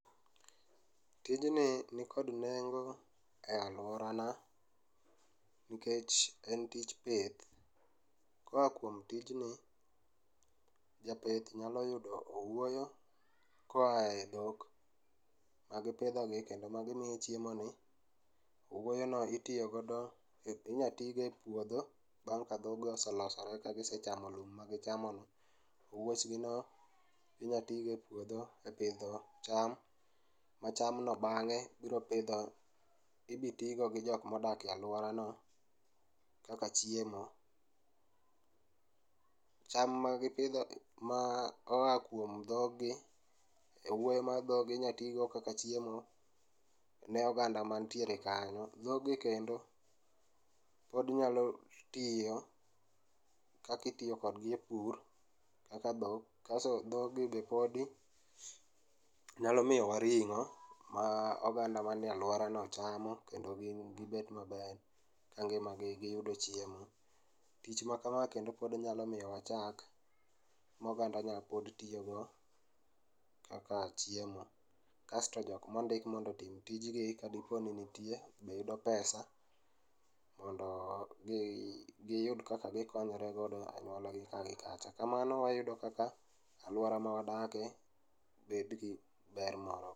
Tijni nikod nengo e aluora na nikech en tich pith ko kuom tijni, japith nyalo yudo owuoyo koae dhok magipidhogi kendo magimiye chiemo ni, owuoyo no itiyo godo, inya tigo e puodho bang' ka dho go oselosore bang' kagichamo lum magichamono. Owuoch gi no inya tigo e puodho e pidho cham, ma cham no bang'e biro pidho, ibi tigo gi jok madak e aluorano kaka chiemo. Cham magipidho, ma oa kuom dhogi, owuoyo ma dhogi inya tigo kaka chiemo ne oganda mantiere kanyo. Dhogi kendo pod nyalo tiyo kakitiyo kodgi e pur kaka dhok kasto dhogi be podi nyalo miyowa ringo ma oganda manie aluora no chamo kendo gin gibet maber ka ngima gi giyudo chiemo. Tich makama kendo nyalo miyo wa chak ma oganda nyalo tiyo go kaka chiemo kasto joma ondik mondo otim tijni kadiponi nitie be yudo pesa mondo mi giyud kaka gikonyore godo gi anyuolagi kaa gi kacha. Kamano wayudo kaka aluora ma wadake be nigi ber moro